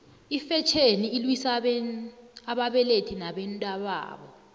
ifetjheni ilwisa ababelethi nabantababo